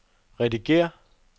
redigér